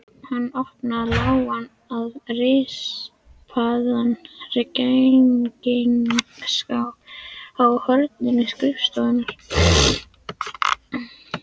Hann opnaði lágan og rispaðan peningaskáp í horni skrifstofunnar.